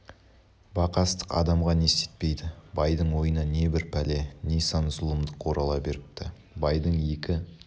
бақастық адамға не істетпейді байдың ойына не бір пәле не сан зұлымдық орала беріпті байдың екі